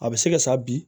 A bɛ se ka sa bi